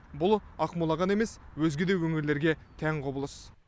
бұл ақмола ғана емес өзге де өңірлерге тән құбылыс